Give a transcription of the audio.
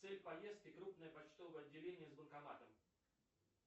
цель поездки крупное почтовое отделение с банкоматом